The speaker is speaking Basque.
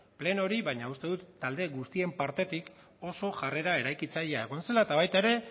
plenori baina uste dut talde guztien partetik oso jarrera eraikitzailea egon zela eta baita ere